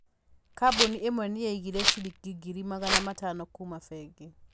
Kambuni ĩmwe nĩ yaihire ciringi ngiri magana matano kuuma bengi.